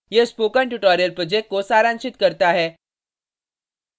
यह spoken tutorial project को सारांशित करता है